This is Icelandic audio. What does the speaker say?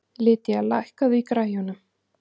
Lydia, lækkaðu í græjunum.